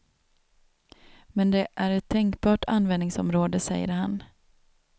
Men det är ett tänkbart användningsområde, säger han.